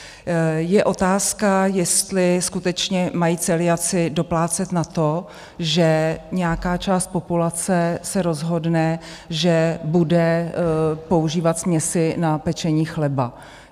Je otázka, jestli skutečně mají celiaci doplácet na to, že nějaká část populace se rozhodne, že bude používat směsi na pečení chleba.